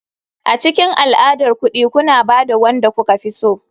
A cikin al'adar kuɗi kuna ba da wanda kuka fi so.